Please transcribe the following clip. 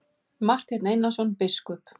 Marteinn Einarsson biskup!